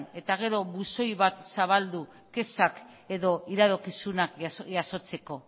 eta gero buzoi bat zabaldu kexak edo iradokizunak jasotzeko